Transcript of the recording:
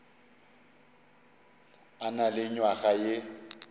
a na le nywaga ye